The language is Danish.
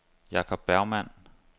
Jacob Bergmann